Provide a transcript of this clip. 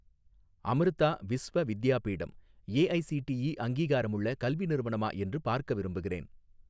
Amrita Vishwa Vidyapeetham AICTE அங்கீகாரமுள்ள கல்வி நிறுவனமா என்று பார்க்க விரும்புகிறேன்